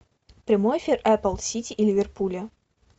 прямой эфир апл сити и ливерпуля